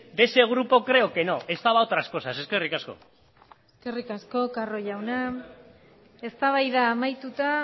de ese grupo creo que no estaba a otras cosas eskerrik asko eskerrik asko carro jauna eztabaida amaituta